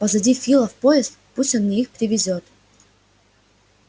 позади фила в поезд пусть он мне их привезёт